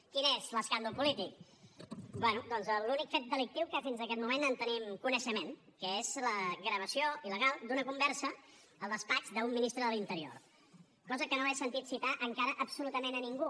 quin és l’escàndol polític bé doncs l’únic fet delictiu que fins aquest moment en tenim coneixement que és la gravació il·legal d’una conversa al despatx d’un ministre de l’interior cosa que no he sentit citar encara absolutament a ningú